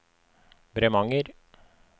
Bremanger